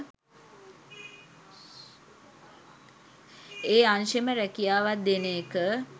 ඒ අංශෙම රැකියාවක් දෙන එක